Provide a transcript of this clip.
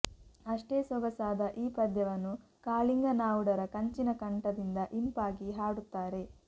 ಅಷ್ಟೆ ಸೊಗಸಾದ ಈ ಪದ್ಯವನ್ನು ಕಾಳಿಂಗ ನಾವುಡರ ಕಂಚಿನ ಕಂಠದಿಂದ ಇಂಪಾಗಿ ಹಾಡುತ್ತಾರೆ